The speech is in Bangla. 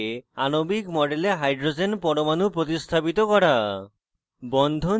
ফাংশনাল গ্রুপের সাথে আণবিক model hydrogen পরমাণু প্রতিস্থাপিত করা